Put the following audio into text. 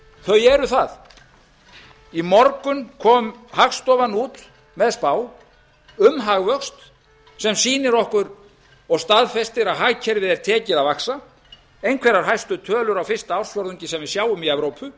þau eru það í morgun kom hagstofan út með spá um hagvöxt sem sýnir okkur og staðfestir að hagkerfið er tekið að vaxa einhverjar hæstu tölur á fyrsta ársfjórðungi sem við sjáum í evrópu